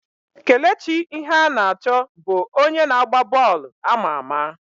Kelechi Iheanacho bụ onye na agba bọọlụ ama ama.